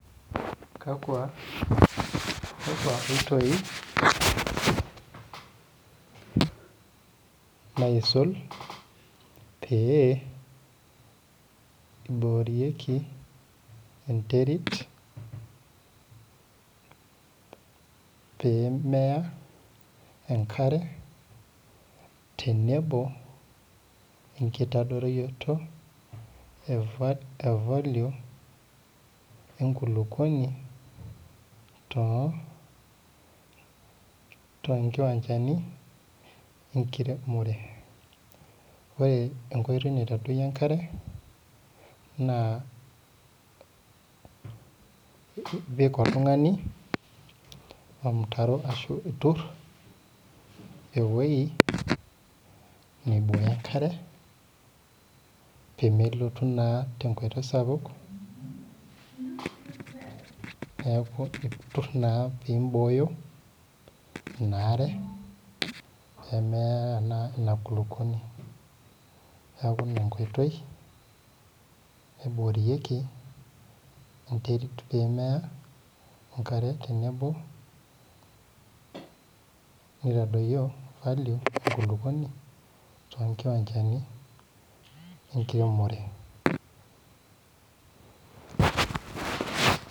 Kaku oitoi eiboorieki neterit pee meya enkare tenebo wenkitadoyiorotoe valio enkulupuoni toonkiwanchani enkiremore .Ore nkoitoi naitadoyiorie oltungani nekare na itur irmutaron ashu itur eweji neibooyo enkare pee melotu naa tenkoitoi sapuk neeku naa itur pee imbooyo inaare pe meya naa inakulukuoni. Neeku ina enkoitoi naiboorieki enterit pee meya enkare tenebo nitadoyio valio enkulupuoni toonkiwanchani enkiremore.